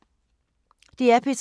DR P3